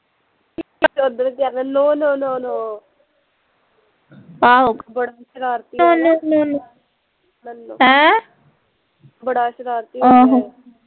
ਓਦਣ ਕਹਿੰਦਾ no no no no ਬੜਾ ਸ਼ਰਾਰਤੀ ਬੜਾ ਸ਼ਰਾਰਤੀ ਹੋ ਗਿਆ ਐ